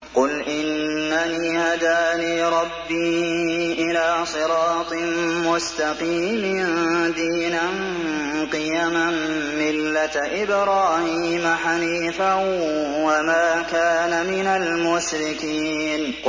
قُلْ إِنَّنِي هَدَانِي رَبِّي إِلَىٰ صِرَاطٍ مُّسْتَقِيمٍ دِينًا قِيَمًا مِّلَّةَ إِبْرَاهِيمَ حَنِيفًا ۚ وَمَا كَانَ مِنَ الْمُشْرِكِينَ